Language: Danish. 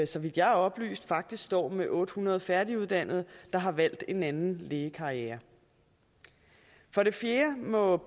så vidt jeg er oplyst faktisk står med otte hundrede færdiguddannede der har valgt en anden lægekarriere for det fjerde må